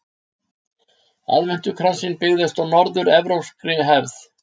Aðventukransinn byggist á norður-evrópskri hefð.